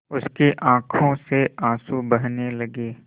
उसकी आँखों से आँसू बहने लगे